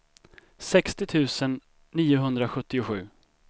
sextio tusen niohundrasjuttiosju